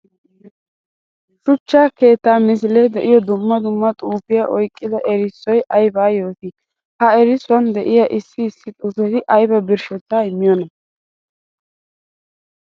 Shuchcha keetta misile de'iyo dumma dumma xuufiya oyqqidda erissoy aybba yooti? Ha erissuwan de'iya issi issi xuufetti aybba birshshetta immiyoona?